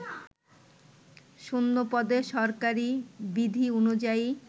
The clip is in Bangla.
শূন্যপদে সরকারি বিধি অনুযায়ী